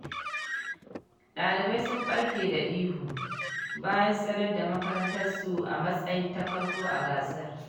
Ɗalibai sun ɓarke da ihu, bayan sanar da makamantansu a matsayin ta farko a gasar.